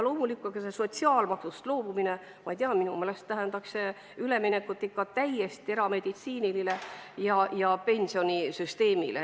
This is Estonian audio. See sotsiaalmaksust loobumine – ma ei tea, minu meelest tähendaks see üleminekut ikka täielikule erameditsiinile ja -pensionisüsteemile.